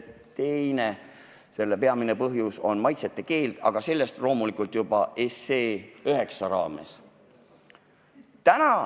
Teine selle peamine põhjus on maitseainete keeld, aga sellest loomulikult juba seaduseelnõu 9 raames.